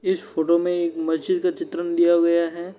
इस फोटो में मस्जिद का चित्रण दिया हुआ है।